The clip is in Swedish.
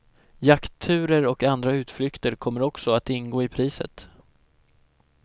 Jaktturer och andra utflykter kommer också att ingå i priset.